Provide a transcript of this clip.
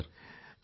അതെ സർ